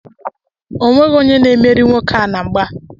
Onweghi onye na-emeri nwoke a na mgba.